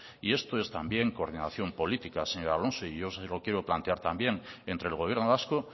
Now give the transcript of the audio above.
y esto es también coordinación política señor alonso y yo se lo quiero plantear también entre el gobierno vasco